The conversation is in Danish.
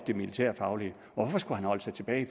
det militærfaglige hvorfor skulle han holde sig tilbage